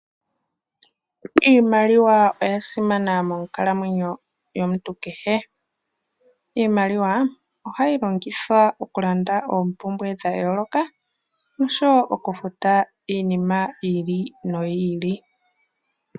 Iimaliwa oya simana monkalamwenyo yomuntu kehe. Iimaliwa ohayi longithwa oku landa oompumbwe dha yooloka osho wo oku futa iinima yi ili noyi ili.